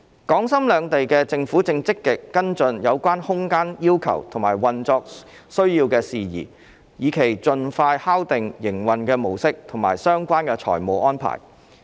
港深兩地政府正積極跟進有關空間要求和運作需要等事宜，以期盡快敲定營運的模式以及相關財務安排。